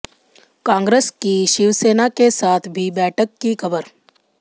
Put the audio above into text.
कांग्रस की शिवसेना के साथ भी बैठक की खबर